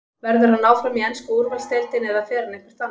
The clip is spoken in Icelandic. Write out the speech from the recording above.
Verður hann áfram í ensku úrvalsdeildinni eða fer hann eitthvert annað?